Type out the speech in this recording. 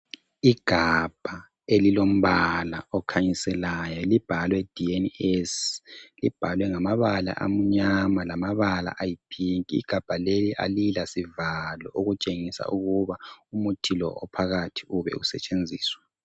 Igabha elilombala okhanyiselayo liibhalwe DNS. Libhalwe ngamabala amnyama lamanye ayi pink. Igabha leli alilasivalo okutshengisa ukuba umuthi lo ube usetshenziswa